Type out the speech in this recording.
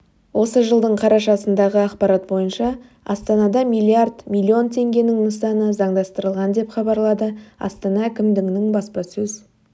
осы жылдың қарашасындағы ақпарат бойынша астанада миллиард миллион теңгенің нысаны заңдастырылған деп хабарлады астана әкімдігінің баспасөз